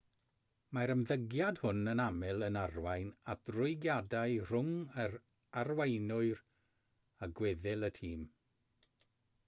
mae'r ymddygiad hwn yn aml yn arwain at rwygiadau rhwng yr arweinwyr a gweddill y tîm